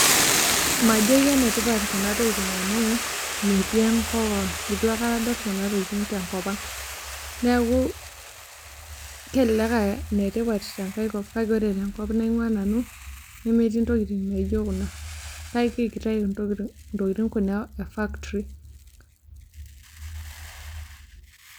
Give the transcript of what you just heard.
Majo kenetipat kuna tokitin amu metii enkop ang', itu aikata adol kuna tokitin te nkop ang'. Neeku kelelek aa ine tipat te nkae kop kake kore tenkop naing'ua nanu nemetii ntokitin naijo kuna kake kitayu ntokitin kuna e factory.